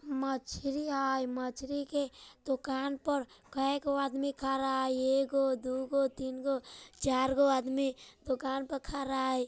मछली हेय मछली के दुकान पर केए गो आदमी खड़ा हेय एगो दू गो तीन गो चार गो आदमी दुकान पर खड़ा हेय।